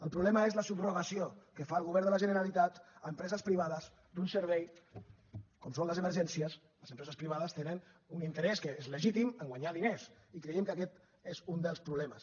el problema és la subrogació que fa el govern de la generalitat a empreses privades d’un servei com són les emergències les empreses privades tenen un interès que és legítim a guanyar diners i creiem que aquest és un dels problemes